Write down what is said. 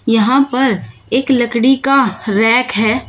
यहां पर एक लकड़ी का रैक है।